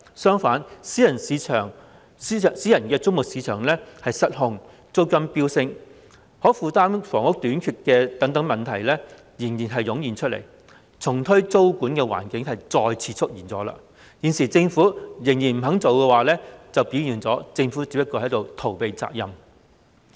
相反，私人租務市場失控、租金飆升、可負擔房屋短缺等問題接連湧現，重推租務管制的環境再次出現，但現時政府仍不重推租務管制，反映了政府只是在逃避責任。